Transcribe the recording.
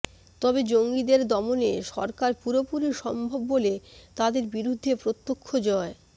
তবে জঙ্গিদের দমনে সরকার পুরোপুরি সম্ভব বলে তাদের বিরুদ্ধে প্রত্যক্ষ জয়